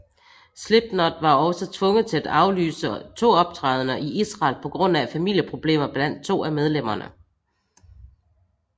Slipknot var også tvunget til at aflyse to optrædener i Israel på grund af familieproblemer blandt to af medlemmerne